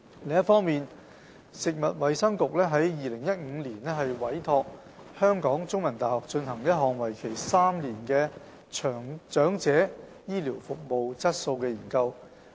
另一方面，食物及衞生局於2015年委託香港中文大學進行一項為期3年的長者醫療服務質素研究。